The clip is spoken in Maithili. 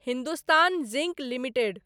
Hindustan zinc limited